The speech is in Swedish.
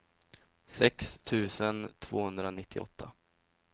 sex tusen tvåhundranittioåtta